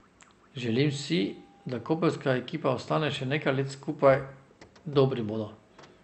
Želim si, da koprska ekipa ostane še nekaj let skupaj, dobri bodo.